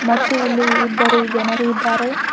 ಮತ್ತು ಇಲ್ಲಿ ಇಬ್ಬರು ಜನರು ಇದ್ದಾರೆ.